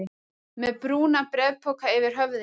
Með brúnan bréfpoka yfir höfðinu?